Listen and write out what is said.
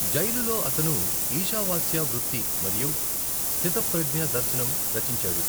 జైలులో అతను ఇషావాస్య వృత్తి మరియు స్థితప్రజ్ఞ దర్శనం రచించాడు.